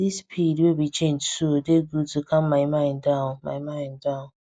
this speed wey we change so dey good to calm my mind down my mind down